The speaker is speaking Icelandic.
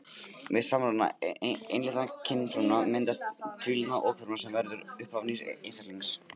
Við samruna einlitna kynfrumna myndast tvílitna okfruma sem verður upphaf nýs einstaklings.